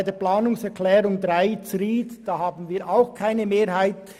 Bei der Planungserklärung 3 haben wir auch keine Mehrheit.